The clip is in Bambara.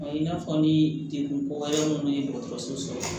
I n'a fɔ ni degun kɔyɛrɛn minnu ye dɔgɔtɔrɔso sɔrɔ